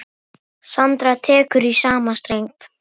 Sandra tekur í sama streng.